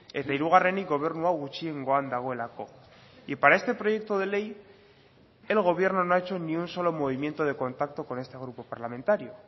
eta hirugarrenik gobernu hau gutxiengoan dagoelako y para este proyecto de ley el gobierno no ha hecho ni un solo movimiento de contacto con este grupo parlamentario